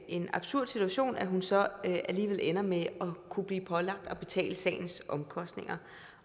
en absurd situation at hun så alligevel ender med at kunne blive pålagt at betale sagens omkostninger